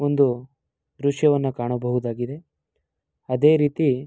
ಒಂದು ದೃಶ್ಯವನ್ನು ಕಾಣಬಹುದಾಗಿದೆ. ಅದೆ ರೀತಿ--